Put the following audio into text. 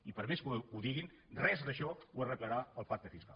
i per més que ho diguin res d’això ho arreglarà el pacte fiscal